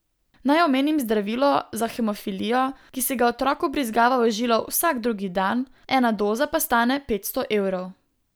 Naj omenim zdravilo za hemofilijo, ki si ga otrok vbrizgava v žilo vsak drugi dan, ena doza pa stane petsto evrov.